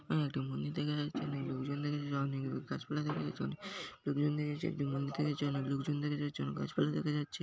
একটা মন্দির দেখা যাচ্ছে অনেক লোকজন দেখা যাচ্ছে গাছপালা দেখা যাচ্ছে অনেক লোকজন দেখা যাচ্ছে। লোকজন দেখা যাচ্ছে অনেক গাছপালা দেখা যাচ্ছে।